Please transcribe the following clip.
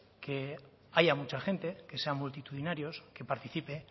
que haya mucha gente que sea multitudinarios que participe